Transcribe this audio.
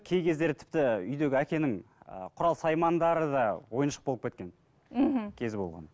кей кездері тіпті үйдегі әкенің ы құрал саймандары да ойыншық болып кеткен мхм кезі болған